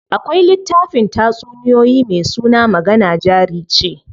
Akwai littafin tatsuniyoyi me suna magana jari ce.